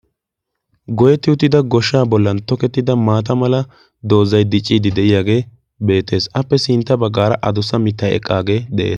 goyetti uttida goshshaa bollan tokettida maata mala doozai diciiddi de7iyaagee beetees. appe sintta baggaara adussa mitta eqqaagee de7ie